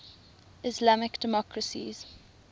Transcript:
islamic democracies